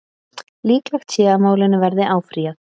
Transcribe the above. Líklegt sé að málinu verði áfrýjað